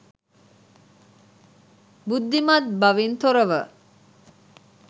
බුද්ධිමත් බවින් තොරව